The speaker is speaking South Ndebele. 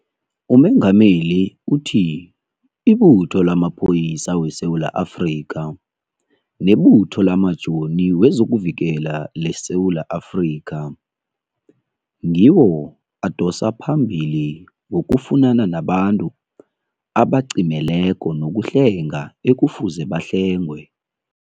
UMengameli uthi iButho lamaPholisa weSewula Afrika neButho lamaJoni wezokuVikela leSewula Afrika ngiwo adosa phambili ngokufunana nabantu abacimeleko nokuhlenga ekufuze bahlengwe.